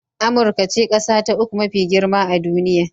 Amurka ce ƙasa ta uku mafi girma a duniya